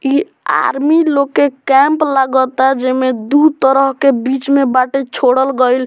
इ आर्मी लोग के कैंप लगाता जे में दू तरह के बीच में बाटे छोड़ल गईल।